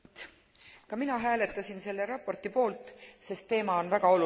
Ka mina hääletasin selle raporti poolt, sest teema on väga oluline.